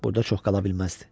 Burada çox qala bilməzdi.